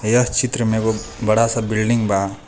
यह चित्र में एगो बड़ा सा बिल्डिंग बा।